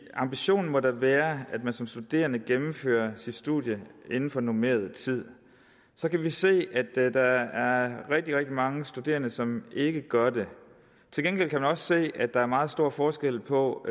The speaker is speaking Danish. ambitionen må da være at man som studerende gennemfører sit studie inden for normeret tid så kan vi se at der er rigtig rigtig mange studerende som ikke gør det til gengæld kan vi også se at der er meget stor forskel på